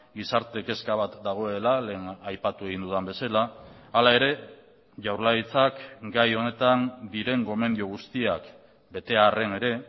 gizarte kezka bat dagoela lehen aipatu egin dudan bezala hala ere jaurlaritzak gai honetan diren gomendio guztiak bete arren ere